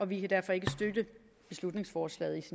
vi kan derfor ikke støtte beslutningsforslaget